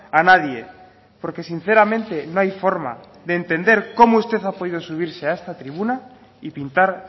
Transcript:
a nadie porque sinceramente no hay forma de entender cómo usted ha podido subirse a esta tribuna y pintar